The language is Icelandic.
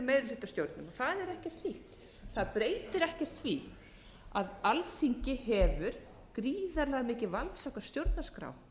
meirihlutastjórnum það er ekkert nýtt það breytir ekkert því að alþingi hefur gríðarlega mikið vald samkvæmt stjórnarskrá